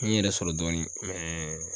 N yɛrɛ sɔrɔ dɔɔnin